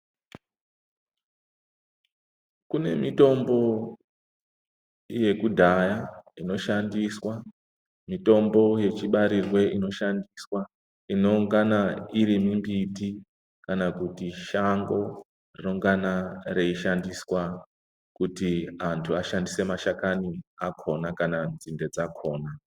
Kune mitombo yekudhaya inoshandiswa, mitombo yechibarirwe inoshandiswa, inongana iri mimbiti kana kuti shango rinongana reishandiswa. kutu antu ashandise mashakani akona kana nzinde dzakona.